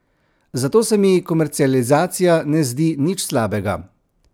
Zato se mi komercializacija ne zdi nič slabega.